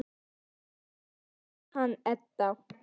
Hvað segirðu um hann, Edda?